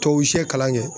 Tubabu sɛ kalan kɛ